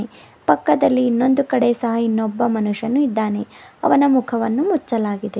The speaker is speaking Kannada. ಪಕ್ಕದಲ್ಲಿ ಇನ್ನೊಂದು ಕಡೆ ಸಹ ಇನ್ನೊಬ್ಬ ಮನುಷ್ಯನು ಇದ್ದಾನೆ ಅವನ ಮುಖವನ್ನು ಮುಚ್ಛಲಾಗಿದೆ.